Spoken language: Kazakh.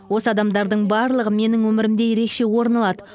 осы адамдардың барлығы менің өмірімде ерекше орын алады